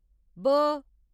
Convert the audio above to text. ब